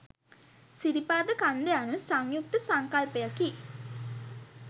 සිරිපාද කන්ද යනු සංයුක්ත සංකල්පයකි